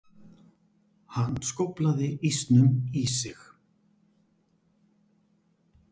Hann skóflaði ísnum í sig.